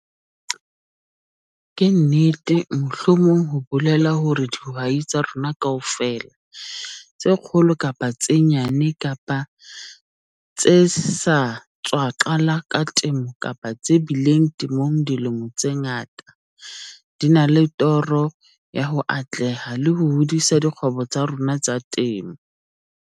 Ke nnete mohlomong ho bolela hore dihwai tsa rona kaofela, tse kgolo kapa tse nyane kapa tse sa tswa qala ka temo kapa tse bileng temong dilemo tse ngata, di na le toro ya ho atleha le ho hodisa dikgwebo tsa tsona tsa temo.